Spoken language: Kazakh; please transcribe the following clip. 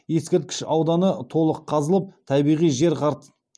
табиғи жер қыртысына дейін жеткен